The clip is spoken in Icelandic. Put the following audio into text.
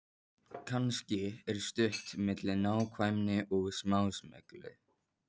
Kannski er stutt milli nákvæmni og smásmygli.